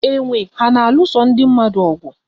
Enwe ha na-alụso ndị mmadụ ọgụ?